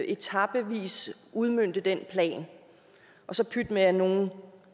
etapevis udmønte den plan og så pyt med at nogle